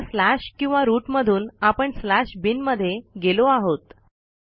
आता स्लॅश किंवा रूट मधून आपण स्लॅश बिन मध्ये गेलो आहोत